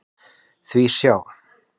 Því sjá!